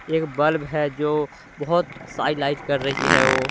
एक बल्ब है जो बहुत साइन लाइट कर रही है वो ।